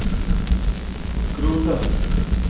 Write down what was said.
круто